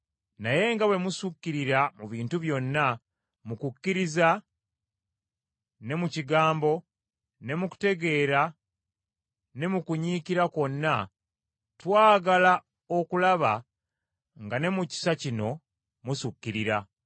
Naye nga bwe musukirira mu bintu byonna, mu kukkiriza, ne mu kigambo, ne mu kutegeera, ne mu kunyiikira kwonna, twagala okulaba nga ne mu kisa kino musukirira.